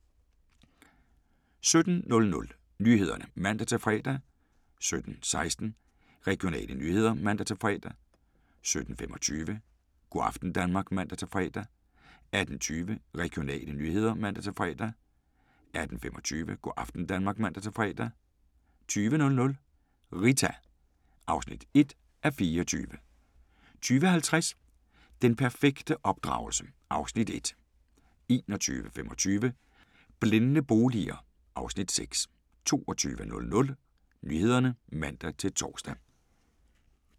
17:00: Nyhederne (man-fre) 17:16: Regionale nyheder (man-fre) 17:25: Go' aften Danmark (man-fre) 18:20: Regionale nyheder (man-fre) 18:25: Go' aften Danmark (man-fre) 20:00: Rita (1:24) 20:50: Den perfekte opdragelse? (Afs. 1) 21:25: Blændende boliger (Afs. 6) 22:00: Nyhederne (man-tor) 22:27: Regionale nyheder (man-tor)